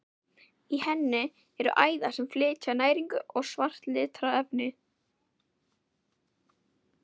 Í henni eru æðar sem flytja næringu og svart litarefni.